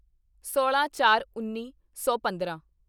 ਸੋਲਾਂਚਾਰਉੱਨੀ ਸੌ ਪੰਦਰਾਂ